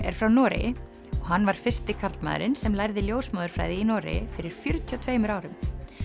er frá Noregi og hann var fyrsti karlmaðurinn sem lærði ljósmóðurfræði í Noregi fyrir fjörutíu og tveimur árum